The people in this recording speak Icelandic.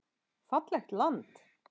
Fallegt land.